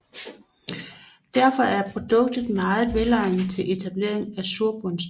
Derfor er produktet meget velegnet til etablering af surbundsbede